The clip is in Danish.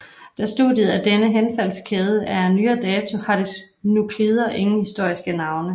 Da studiet af denne henfaldskæde er af nyere dato har dets nuklider ingen historiske navne